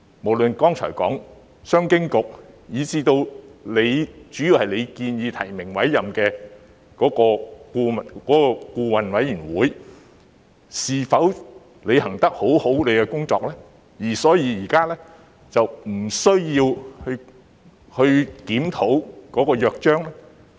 無論是剛才提到的商經局，以至成員主要是由局長提名及委任的顧委會，是否均已妥善履行其職責，以致現時並無需要檢討《約章》？